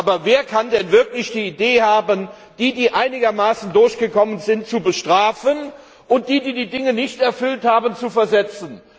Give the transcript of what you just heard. Aber wer kann denn wirklich die Idee haben, diejenigen, die einigermaßen durchgekommen sind, zu bestrafen und diejenigen, die die Dinge nicht erfüllt haben, zu versetzen?